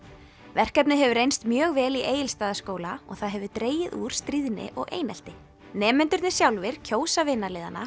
verkefnið hefur reynst mjög vel í Egilsstaðaskóla og það hefur dregið úr stríðni og einelti nemendurnir sjálfir kjósa